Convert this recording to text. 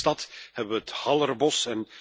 In mijn eigen stad hebben we het Hallerbos.